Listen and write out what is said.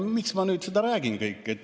Miks ma seda kõike räägin?